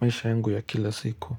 maisha yangu ya kila siku.